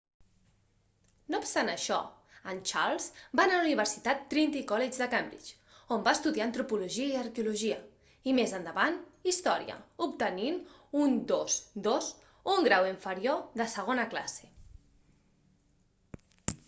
no obstant això en charles va anar a la universitat trinity college de cambridge on va estudiar antropologia i arqueologia i més endavant història obtenint un 2:2 un grau inferior de segona classe